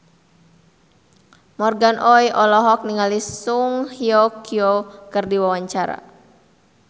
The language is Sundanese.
Morgan Oey olohok ningali Song Hye Kyo keur diwawancara